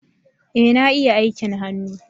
Ee na ia aikin hannu